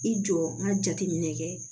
I jɔ n ka jateminɛ kɛ